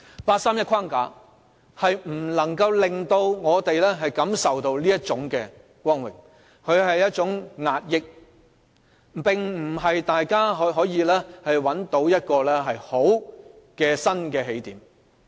八三一框架不能令我們感受到這種光榮，它是一種壓抑，並不能可讓大家找到一個好的新起點。